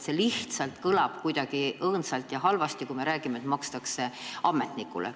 See lihtsalt kõlab kuidagi õõnsalt ja halvasti, kui me räägime, et seda makstakse ametnikule.